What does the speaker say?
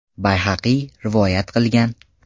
Bayhaqiy rivoyat qilgan.